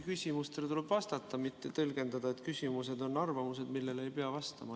Küsimustele tuleb ikkagi vastata, mitte tõlgendada nii, et küsimused on arvamused, millele ei pea vastama.